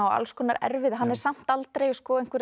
og alls konar erfiði hann er samt aldrei